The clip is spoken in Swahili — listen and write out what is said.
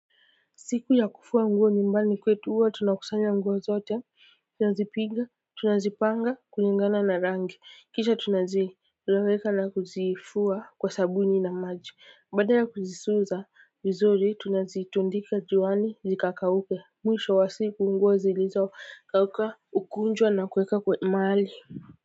Siku ya kufua nguo nyumbani kwetu huwa tunakusanya nguo zote tunazipiga tunazipanga kulingana na rangi kisha tunazi raveka na kuzifua kwa sabuni na maji baada ya kuzisuza vizuri tunazi tundika juani zikakauke mwisho wa siku nguo zilizo kauka ukunjwa na kuwekwa maali.